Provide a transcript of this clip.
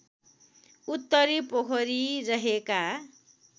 उत्तरे पोखरी रहेका